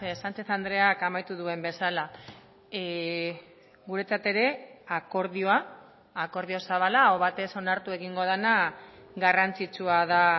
sanchez andreak amaitu duen bezala guretzat ere akordioa akordio zabala aho batez onartu egingo dena garrantzitsua da